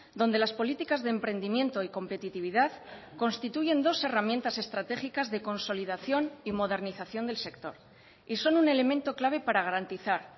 donde las políticas de emprendimiento y competitividad constituyen dos herramientas estratégicas de consolidación y modernización del sector y son un elemento clave para garantizar